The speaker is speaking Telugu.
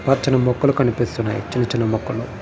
పచ్చని మొక్కలు కనిపిస్తున్నాయి చిన్న చిన్న ముక్కలు.